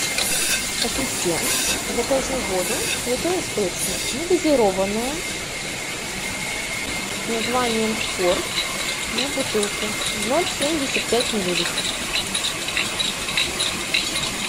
ассистент закажи воду святой источник негазированная с названием спорт на бутылке ноль семьдесят пять миллилитров